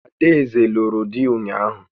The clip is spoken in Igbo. Ada eze lụrụ dị ụnyaahụ